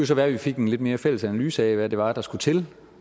så være at vi fik en lidt mere fælles analyse af hvad det var der skulle til